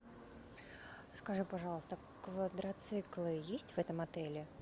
скажи пожалуйста квадроциклы есть в этом отеле